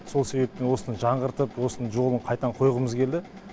сол себептен осыны жаңғыртып осыны жолын қайтадан қойғымыз келді